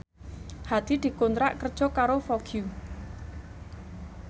Hadi dikontrak kerja karo Vogue